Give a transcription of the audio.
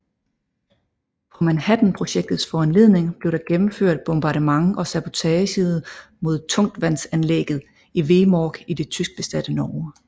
På Manhattanprojektets foranledning blev der gennemført bombardement og sabotage mod tungtvandsanlægget i Vemork i det tyskbesatte Norge